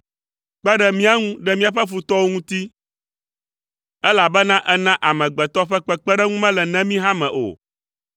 Kpe ɖe mía ŋu ɖe míaƒe futɔwo ŋuti, elabena èna amegbetɔ ƒe kpekpeɖeŋu mele nemi hã me o.